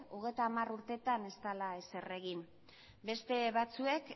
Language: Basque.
hogeita hamar urtetan ez dela ezer egin beste batzuek